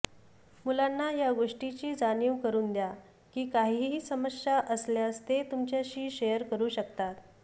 मुलांना या गोष्टीची जाणीव करून द्या की काहीही समस्या असल्यास ते तुमच्याशी शेअर करू शकतात